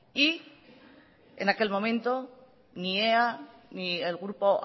y en aquel momento ni ea ni el grupo